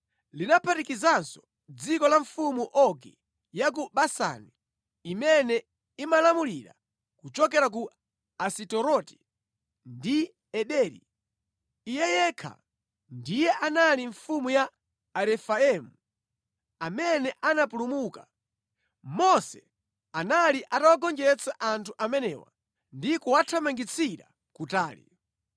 Linaphatikizanso dziko la mfumu Ogi ya ku Basani imene imalamulira kuchokera ku Asiteroti ndi Ederi. Iye yekha ndiye anali mfumu ya Arefaimu amene anapulumuka. Mose anali atawagonjetsa anthu amenewa ndi kuwathamangitsira kutali.